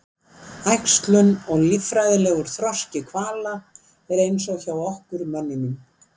Æxlun og líffræðilegur þroski hvala er eins og hjá okkur mönnunum.